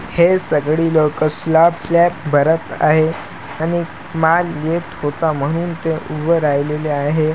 हे सगळी लोकं स्लॅब स्लॅब भरत आहेत पण माल येत होता म्हणून ते उभं राहिलेले आहे.